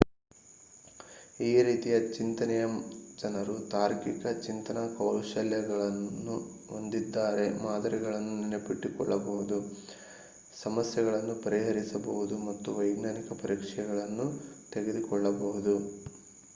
ಈ ರೀತಿಯ ಚಿಂತನೆಯ ಜನರು ತಾರ್ಕಿಕ ಚಿಂತನಾ ಕೌಶಲ್ಯವನ್ನು ಹೊಂದಿದ್ದಾರೆ ಮಾದರಿಗಳನ್ನು ನೆನಪಿಟ್ಟುಕೊಳ್ಳಬಹುದು ಸಮಸ್ಯೆಗಳನ್ನು ಪರಿಹರಿಸಬಹುದು ಮತ್ತು ವೈಜ್ಞಾನಿಕ ಪರೀಕ್ಷೆಗಳನ್ನು ತೆಗೆದುಕೊಳ್ಳಬಹುದು